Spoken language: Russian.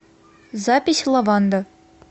запись лаванда